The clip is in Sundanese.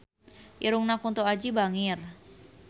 Irungna Kunto Aji bangir